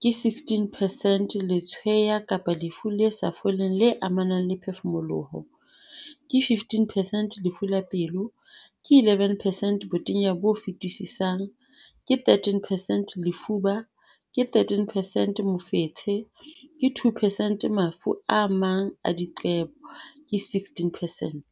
ke 16 percent Letshweya kapa lefu le sa foleng le amanang le ho phefumoloha, ke 15 percent Lefu la pelo, ke 11 percent Botenya bo fetisisang, ke 13 percent Lefuba, ke 13 percent Mofetshe, ke 2 percent Mafu a mang a diqebo, ke 16 percent.